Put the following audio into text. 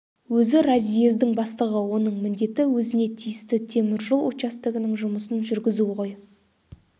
өзі разъездің бастығы оның міндеті өзіне тиісті теміржол участогінің жұмысын жүргізу ғой